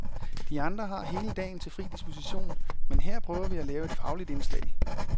De andre har hele dagen til fri disposition, men her prøver vi at lave et fagligt indslag.